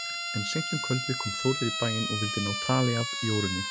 En seint um kvöldið kom Þórður í bæinn og vildi ná tali af Jórunni.